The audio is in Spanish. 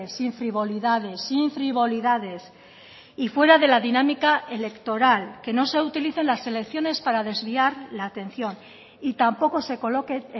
sin frivolidades sin frivolidades y fuera de la dinámica electoral que no se utilicen las elecciones para desviar la atención y tampoco se coloque